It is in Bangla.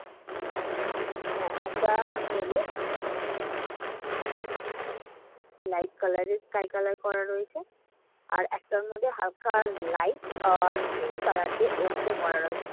মানে এ~ একটা male এ মানে light color এর sky color করা রয়েছে। আর একটার মধ্যে হালকা light আর pink color দিয়ে করা রয়েছে।